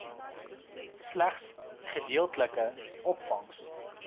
slegs gedeeltelike opvangs